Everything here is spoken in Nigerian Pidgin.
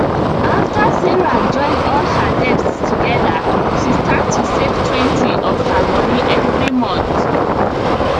after sarah join all her debts together she start to savetwentyof her money every month